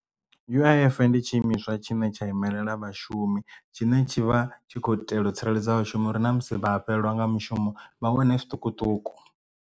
U_I_F ndi tshi imiswa tshine tsha imelela vhashumi tshine tshi vha tshi khou itela u tsireledza vhashumi uri na musi vha fhelelwa nga mushumo vha wane zwiṱukuṱuku.